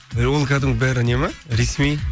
і ол кәдімгі бәрі не ме ресми